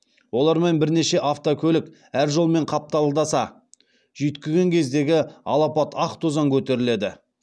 олармен бірнеше автокөлік әр жолмен қапталдаса жүйткіген кездегі алапат ақ тозаң көтеріледі